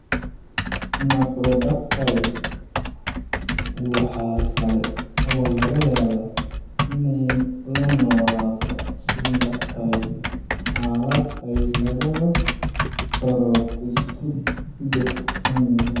Macrodactyly waxa kale oo laga yaabaa inay la noolaato syndactyly, xaalad ay labada farood isku dhegsan yihiin.